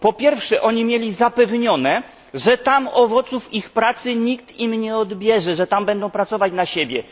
Po pierwsze, emigranci ci mieli zapewnione, że tam owoców ich pracy nikt im nie odbierze, że tam będą pracować na siebie.